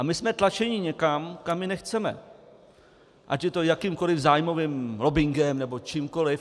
A my jsme tlačeni někam, kam my nechceme, ať je to jakýmkoliv zájmovým lobbingem nebo čímkoliv.